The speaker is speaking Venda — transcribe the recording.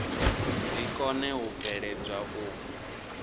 dzi kone u bveledzwa u